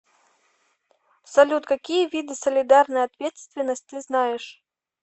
салют какие виды солидарная ответственность ты знаешь